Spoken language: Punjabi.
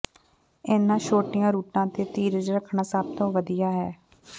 ਇਨ੍ਹਾਂ ਛੋਟੀਆਂ ਰੂਟਾਂ ਤੇ ਧੀਰਜ ਰੱਖਣਾ ਸਭ ਤੋਂ ਵਧੀਆ ਹੈ